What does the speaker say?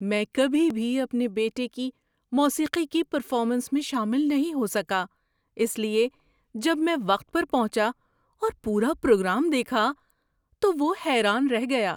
میں کبھی بھی اپنے بیٹے کی موسیقی کی پرفارمنس میں شامل نہیں ہو سکا، اس لیے جب میں وقت پر پہنچا اور پورا پروگرام دیکھا تو وہ حیران رہ گیا۔